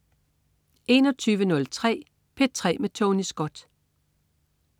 21.03 P3 med Tony Scott